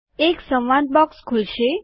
એક સંવાદ બોક્સ ખુલશે